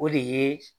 O de ye